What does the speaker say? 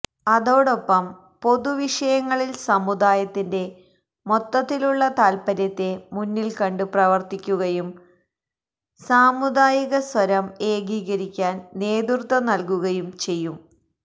അതോടൊപ്പം പൊതുവിഷയങ്ങളില് സമുദായത്തിന്റെ മൊത്തത്തിലുള്ള താല്പര്യത്തെ മുന്നില്കണ്ടു പ്രവര്ത്തിക്കുകയും സാമുദായികസ്വരം ഏകീകരിക്കാന് നേതൃത്വം നല്കുകയും ചെയ്യും